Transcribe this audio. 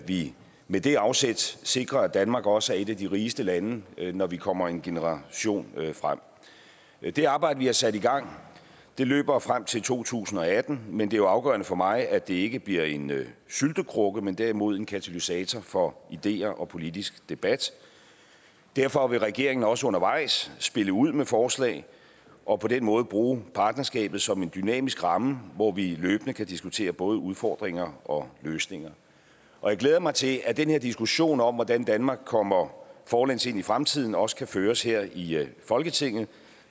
vi med det afsæt sikrer at danmark også er et af de rigeste lande når vi kommer en generation frem det arbejde vi har sat i gang løber frem til to tusind og atten men det er jo afgørende for mig at det ikke bliver en syltekrukke men derimod en katalysator for ideer og politisk debat derfor vil regeringen også undervejs spille ud med forslag og på den måde bruge partnerskabet som en dynamisk ramme hvor vi løbende kan diskutere både udfordringer og løsninger jeg glæder mig til at den her diskussion om hvordan danmark kommer forlæns ind i fremtiden også kan føres her i folketinget